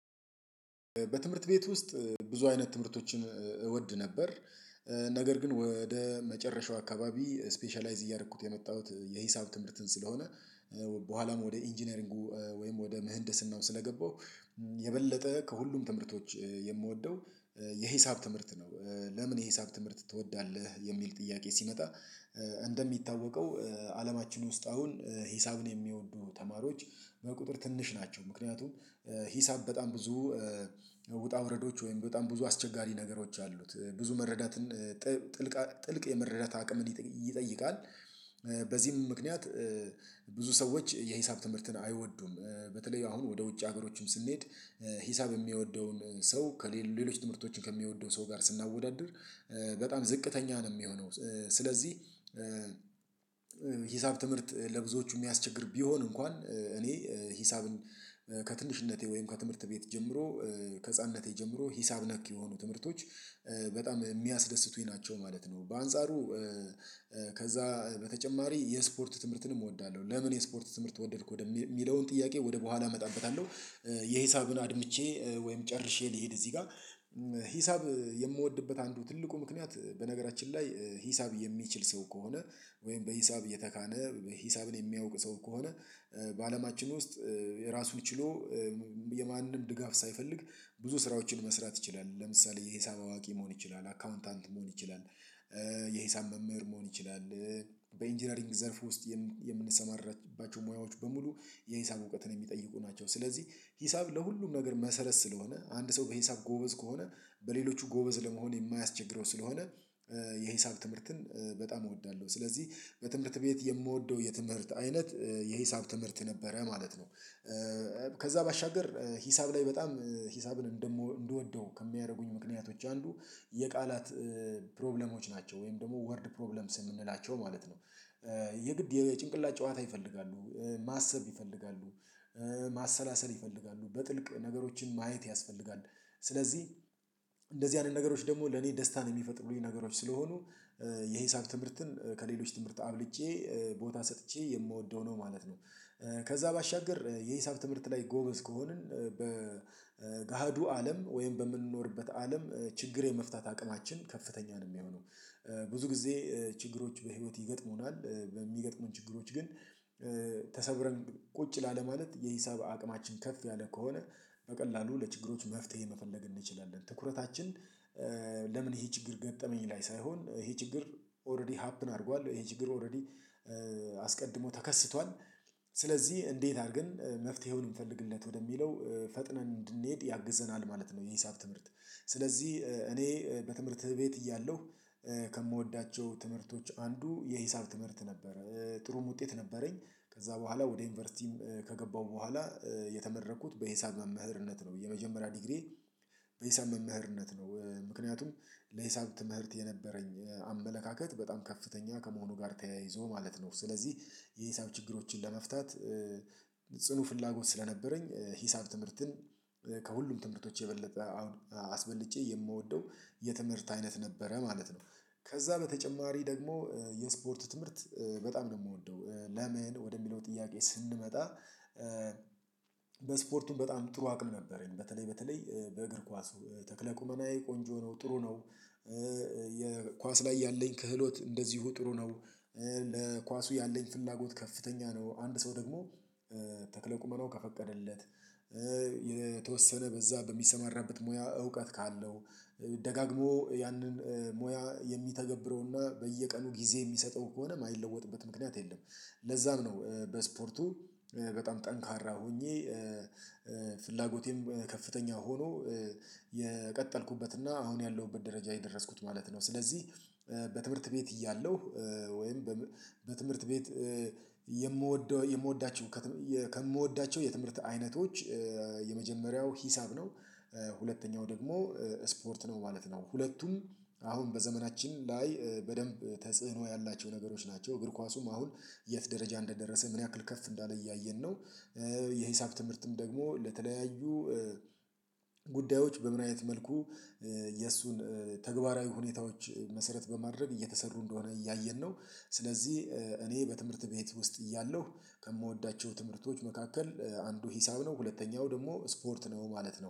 በትምህርት ቤት ውስጥ ብዙ አይነት ትምህርቶችን እወድ ነበር። ነገር ግን ወደ መጨረሻው አካባቢ ስፔሻላይዝ እያደረኩት የመጣሁት የሂሳብ ትምህርትን ስለሆነ በኋላም ወደ ኢንጂነሪንጉ ወይም ወደ ምህንድስናው ስለገባው የበለጠ ከሁሉም ትምህርቶች የምወደው የሂሳብ ትምህርት ነው። ለምን የሂሳብ ትምህርት ትወዳለህ የሚል ጥያቄ ሲመጣ? እንደሚታወቀው አለማችን ውስጥ አሁን ሂሳብን የሚወዱ ተማሪዎች በቁጥር ትንሽ ናቸው ምክንያቱም ሂሳብ በጣም ብዙ ውጣ ውረዶች ወይም በጣም ብዙ አስቸጋሪ ነገሮች አሉት ብዙ መረዳትን ጥልቅ የመረዳት አቅም እንዲጠይቃል በዚህም ምክንያት ብዙ ሰዎች የሂሳብ ትምህርትን አይወዱም። በተለይ አሁን ወደ ውጭ ሀገሮችን ስንሄድ ሂሳብ የሚወደውን ሰው ከሌሎች ትምህርቶችን ከሚወደው ሰው ጋር በጣም ዝቅተኛ ነው የሚሆነው። ስለዚህ ሂሳብ ትምህርት ለብዙዎቹ የሚያስቸግር ቢሆን እንኳን እኔ ሂሳብን ከትንሽነቴ ወይም ከትምህርት ቤት ጀምሮ ከህፃንነቴ ጀምሮ ሂሳብ ነክ የሆኑ ትምህርቶች በጣም የሚያስደስቱኝ ናቸው ማለት ነው። በአንጻሩ በተጨማሪ የስፖርት ትምህርትንም እወዳለሁ ለምን የስፖርት ትምህርት ወደድኩ ወደሚለውን ጥያቄ ወደ በኋላ እመጣበታለሁ። የሂሳብን አድምቼ ወይም ጨርሼ ልሄድ እዚህ ጋር ሂሳብ የምወድበት አንዱ ትልቁ ምክንያት በነገራችን ላይ ሂሳብ የሚችል ሰው ከሆነ ወይም በሂሳብ የተካነ ሂሳብን የሚያውቅ ሰው ከሆነ በአለማችን ውስጥ የራሱን ችሎ የማንም ድጋፍ ሳይፈልግ ብዙ ስራዎችን መስራት ይችላል። ለምሳሌ የሂሳብ አዋቂ መሆን ይችላል አካውንታንት መሆን ይችላል። የሂሳብ መምህር መሆን ይችላል። በኢንጂነሪንግ ዘርፍ ውስጥ የምንሰማራባቸው ሙያዎች በሙሉ የሂሳብ እውቀትን የሚጠይቁ ናቸው። ስለዚህ ሂሳብ ለሁሉም ነገር መሰረት ስለሆነ አንድ ሰው በሂሳብ ጎበዝ ከሆነ በሌሎቹ ጎበዝ ለመሆን የማያስቸግረው ስለሆነ የሂሳብ ትምህርትን በጣም እወዳለሁ። ስለዚህ በትምህርት ቤት የምወደው የትምህርት አይነት የሂሳብ ትምህርት ነበረ ማለት ነው። ከዛ ባሻገር ሂሳብ ላይ በጣም ሂሳብን እንደም እንደወደው ከሚያደርጉኝ ምክንያቶች አሉ። የቃላት ፕሮብሌሞች ናቸው ወይም ደግሞ ወርድ ፕሮብለምስ የምንላቸው ማለት ነው። የግድ የጭንቅላት ጨዋታ ይፈልጋሉ ማሰብ ይፈልጋሉ ማሰላሰል ይፈልጋሉ በጥልቅ ነገሮችን ማየት ያስፈልጋል። ስለዚህ እንደዚህ አይነት ነገሮች ደግሞ ለኔ ደስታን የሚፈጥሩኝ ነገሮች ስለሆኑ የሂሳብ ትምህርትን ከሌሎች ትምህርት አብልጬ ቦታ ሰጥቼ የምወደው ነው ማለት ነው። ከዛ ባሻገር የሂሳብ ትምህርት ላይ ጎበዝ ከሆንን በገሃዱ አለም ወይም በምንኖርበት አለም ችግር የመፍታት አቅማችን ከፍተኛ ነው የሚሆነው ብዙ ጊዜ ችግሮች በህይወት ይገጥሙናል። በሚገጥሙን ችግሮች ግን ተሰብረን ቁጭ ላለ ማለት የሂሳብ አቅማችን ከፍ ያለ ከሆነ በቀላሉ ለችግሮች መፍትሄ መፈለግ እንችላለን። ትኩረታችን ለምን ይሄ ችግር ገጠመኝ ላይ ሳይሆን ይሄ ችግር ኦልረዲ ሀፕን አድርጓል ይሄ ችግር ኦልረዲ አስቀድሞ ተከስቷል ስለዚህ እንዴት አድርገን መፍትሄውን የምፈልግለት ወደሚለው ፈጥነን እንድንሄድ ያግዘናል ማለት ነው። የሂሳብ ትምህርት ስለዚህ እኔ በትምህርት ቤት እያለሁ ከምወዳቸው ትምህርቶች የሂሳብ ትምህርት ነበረ ጥሩም ውጤት ነበረኝ ከዛ በኋላ ወደ ዩኒቨርሲቲም ከገባሁ በኋላ የተመረኩት በሂሳብ መምህርነት ነው። የመጀመሪያ ዲግሪ በሂሳብ መምህርነት ነው ምክንያቱም ለሂሳብ ትምህርት የነበረኝ አመለካከት በጣም ከፍተኛ ከመሆኑ ጋር ተያይዞ ማለት ነው። ስለዚህ የሂሳብ ችግሮችን ለመፍታት ጽኑ ፍላጎት ስለነበረኝ ሂሳብ ትምህርትን ከሁሉም ትምህርቶች የበለጠ አሁን አስበልጬ የምወደው የትምህርት አይነት ነበረ ማለት ነው። ከዛ በተጨማሪ ደግሞ የስፖርቱ ትምህርት በጣም ነው የምወደው። ለምን ወደሚለው ጥያቄ ስንመጣ በስፖርቱም በጣም ጥሩ አቅም ነበረኝ በተለይ በተለይ በእግር ኳስ ተክለ ቁመናዬ ቆንጆ ነው ጥሩ ነው። የኳስ ላይ ያለኝ ክህሎት እንደዚሁ ጥሩ ነው። ለኳሱ ያለኝ ፍላጎት ከፍተኛ ነው አንድ ሰው ደግሞ ተክለ ቁመናው ከፈቀደለት የተወሰነ በዛ በሚሰማራበት ሙያ እውቀት ካለው ደጋግሞ ያንን ሙያ የሚተገብረውና በየቀኑ ጊዜ የሚሰጠው ከሆነ የማይለወጥበት ምክንያት የለም። ለዛም ነው በስፖርቱ በጣም ጠንካራ ሆኜ ፍላጎቴም ከፍተኛ ሆኖ የቀጠልኩበትና አሁን ያለሁበት ደረጃ የደረስኩት ማለት ነው። ስለዚህ በትምህርት ቤት እያለሁ ወይም በትምህርት ቤት የምወደው የምወዳቸው ከምወዳቸው የትምህርት አይነቶች የመጀመሪያው ሂሳብ ነው። ሁለተኛው ደግሞ ስፖርት ነው ማለት ነው። ሁለቱም አሁን በዘመናችን ላይ በደንብ ተጽዕኖ ያላቸው ነገሮች ናቸው። እግር ኳሱም አሁን የት ደረጃ እንደደረሰ ምን ያክል ከፍ እንዳለ እያየን ነው። የሂሳብ ትምህርትም ደግሞ ለተለያዩ ጉዳዮች በምንም መልኩ የእሱን ተግባራዊ ሁኔታዎች መሰረት በማድረግ እየተሰሩ እንደሆነ እያየን ነው። ስለዚህ እኔ በትምህርት ቤት ውስጥ እያለሁ ከምወዳቸው ትምህርቶች መካከል አንዱ ሂሳብ ነው ሁለተኛው ደግሞ ስፖርት ነው ማለት ነው